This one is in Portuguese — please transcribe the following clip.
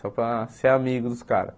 Só para ser amigo dos caras.